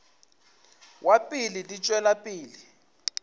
wa pele di tšwela pele